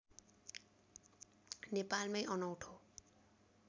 नेपालमै अनौठो